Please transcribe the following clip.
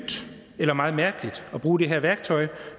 eller meget mærkeligt at bruge det her værktøj